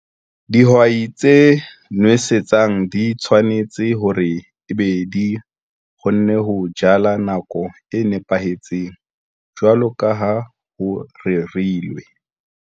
Dihwai tse nosetsang di tshwanetse hore ebe di kgonne ho jala nakong e nepahetseng jwalo ka ha ho rerilwe.